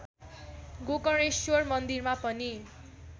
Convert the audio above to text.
गोकर्णेश्वर मन्दिरमा पनि